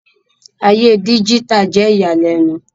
Aye díjítà jẹ iyalẹnu